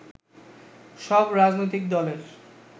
সব রাজনৈতিক দলের